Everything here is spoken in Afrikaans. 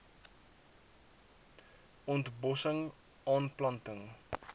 ont bossing aanplanting